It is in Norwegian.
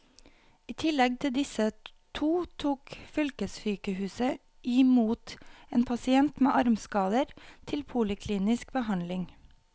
I tillegg til disse to tok fylkessykehuset i mot en pasient med armskader til poliklinisk behandling.